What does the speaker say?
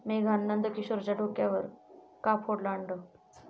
मेघानं नंदकिशोरच्या डोक्यावर का फोडलं अंड?